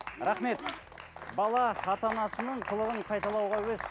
рахмет бала ата анасының қылығын қайталауға әуес